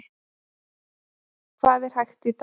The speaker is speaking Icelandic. Hvað er hægt í dag?